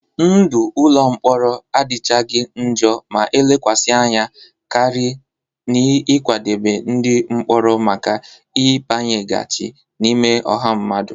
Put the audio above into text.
Ndụ ụlọ mkpọrọ adịchaghị njọ ma elekwasị anya karị n'ịkwadebe ndị mkpọrọ maka ịbanyeghachi n'ime ọha mmadụ.